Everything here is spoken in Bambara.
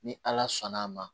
Ni ala sɔnn' a ma